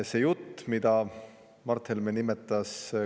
See jutt, mida Mart Helme.